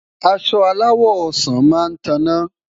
aṣọ alawọ ọsán má tana